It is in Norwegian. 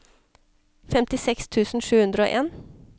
femtiseks tusen sju hundre og en